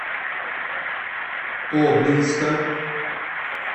обнинска